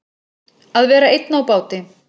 Að vera einn á báti